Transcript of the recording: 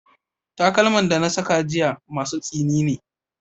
Takalman da na saka jiya masu tsini ne.